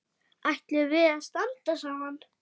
Ætlum við að standa saman?